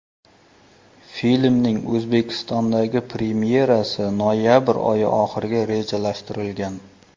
Filmning O‘zbekistondagi premyerasi noyabr oyi oxiriga rejalashtirilgan.